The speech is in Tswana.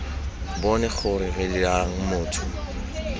bone gore re dirang motho